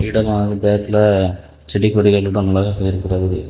இடமாக பேக்ல செடி கொடிகள் அதிகமாக இருக்கிறது.